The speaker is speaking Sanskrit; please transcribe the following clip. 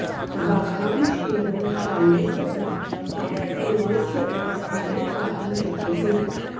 वातामक्षीरं चायस्य वा काफीपेयस्य वा स्थाने पातुं शक्यते